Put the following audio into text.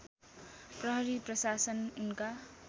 प्रहरी प्रशासन उनका